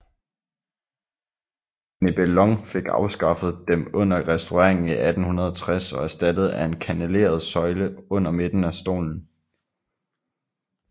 Nebelong fik afskaffet dem under restaureringen i 1860 og erstattet af en kanneleret søjle under midten af stolen